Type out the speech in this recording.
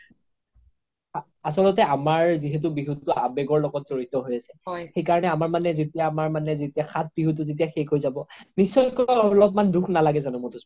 আচ্লতে আমাৰ যিহেতু বিহুটো আবেগৰ লগত যৰিত হৈ আছে সেইকাৰনে আমাৰ মানে যেতিয়া সাত বিহুটো শেষ হৈ যাব নিশ্চয় অলপ মান দুখ নালাগে যানো মাধুস্মিতা